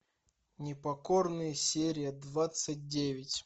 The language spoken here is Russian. непокорные серия двадцать девять